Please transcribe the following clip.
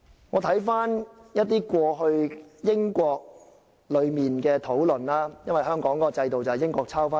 我看了英國過去的討論，因為香港的制度源於英國制度。